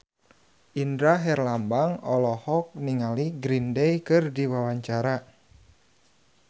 Indra Herlambang olohok ningali Green Day keur diwawancara